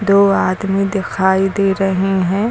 दो आदमी दिखाई दे रहे हैं।